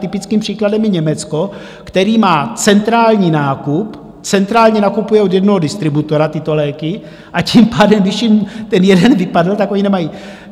Typickým příkladem je Německo, které má centrální nákup, centrálně nakupuje od jednoho distributora tyto léky, a tím pádem když jim ten jeden vypadl, oni je nemají.